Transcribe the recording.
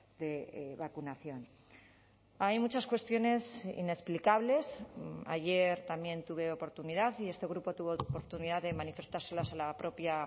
de vacunación hay muchas cuestiones inexplicables ayer también tuve oportunidad y este grupo tuvo oportunidad de manifestárselas a la propia